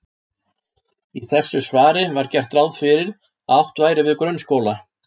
Í þessu svari var gert ráð fyrir að átt væri við grunnskóla.